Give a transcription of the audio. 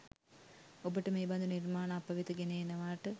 ඔබට මේ බදු නිර්මාණ අපවෙත ගෙන එනවාට